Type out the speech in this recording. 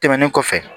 Tɛmɛnen kɔfɛ